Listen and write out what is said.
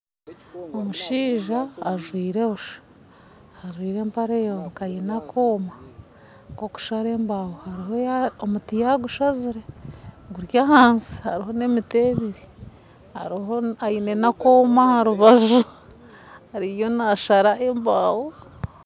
Omushaija ajwaire busha, ajwaire empare yonka aine akooma kokushara embaaho. Omuti yagusazire guri ahansi hariho na emiti ebiri aine na akoma aha rubaju ariyo nasara embaaho